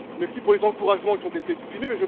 Merci pour les encouragements qui ont été exprimés